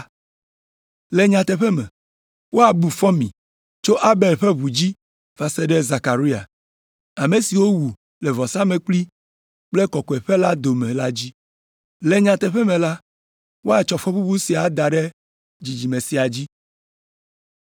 Le nyateƒe me, woabu fɔ mi tso Abel ƒe ʋu dzi va se ɖe Zekaria, ame si wowu le vɔsamlekpui kple kɔkɔeƒe la dome la dzi. Le nyateƒe me la, woatsɔ fɔbubu sia ada ɖe dzidzime sia dzi.